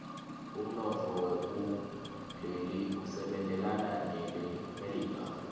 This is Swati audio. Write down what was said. umnotfo wakuleli usebentelana nelemelika